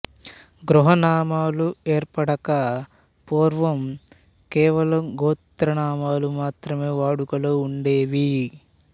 గృహనామాలు ఏర్పడక పూర్వం కేవలం గోత్రాలు మాత్రమే వాడుకలో ఉండేవి